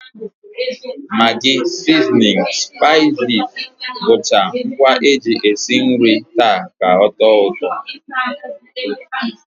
Magi, sizinin, spaiziz bụcha ngwa e jizi esi nri taa ka ọ tọọ ụtọ